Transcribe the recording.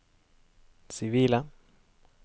sivile